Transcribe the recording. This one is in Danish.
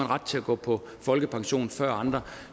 ret til at gå på folkepension før andre